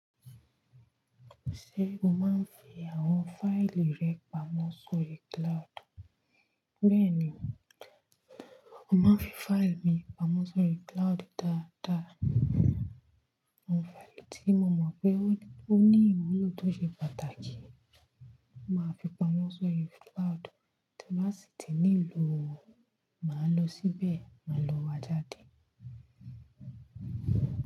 Ṣé o máa ń fi àwọn fáìlì rẹ pamọ́ sórí cloud? Bẹ́ẹ̀ni, mo máa ń fi fáìlì mi pamọ́ sórí cloud dáadáa. Àwọn fáìlì tí mo mọ̀ pé ó ní ìwúlò tó ṣe pàtàkì, màá fi pamọ́ sórí cloud, tí n ba sì ti nílò, màá lọ síbẹ̀ máa lọ wá jáde.